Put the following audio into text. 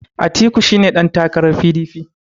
Atiku shi ne ɗantakarar P.D.P